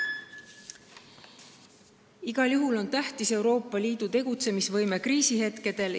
Igal juhul on tähtis Euroopa Liidu tegutsemisvõime kriisihetkedel.